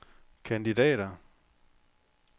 kandidater